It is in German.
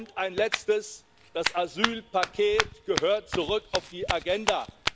Und ein Letztes Das Asylpaket gehört zurück auf die Agenda.